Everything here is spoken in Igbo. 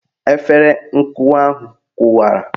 Efere nkụwa ahụ kụwara